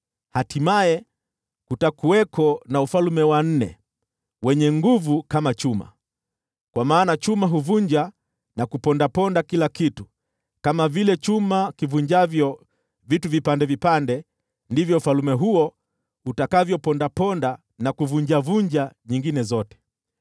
Hatimaye, kutakuwako na ufalme wa nne, wenye nguvu kama chuma, kwa maana chuma huvunja na kupondaponda kila kitu; kama vile chuma ivunjavyo vitu vipande vipande, ndivyo ufalme huo utakavyopondaponda na kuvunjavunja nyingine zote.